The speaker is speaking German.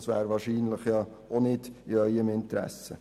Das wäre wahrscheinlich auch nicht in Ihrem Interesse.